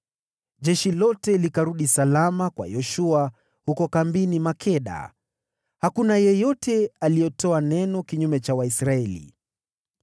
Basi jeshi lote likarudi salama kwa Yoshua huko kambini Makeda, na hakuna yeyote aliyetoa neno kinyume cha Waisraeli.